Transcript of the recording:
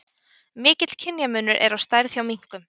Mikill kynjamunur er á stærð hjá minkum.